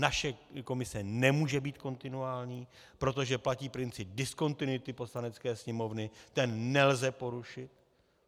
Naše komise nemůže být kontinuální, protože platí princip diskontinuity Poslanecké sněmovny, ten nelze porušit.